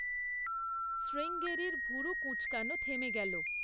শ্রীঙ্গেরির ভুরু কুঁচকানো থেমে গেল।